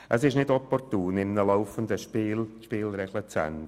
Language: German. Es ist nicht opportun, während des laufenden Spiels die Spielregeln zu ändern.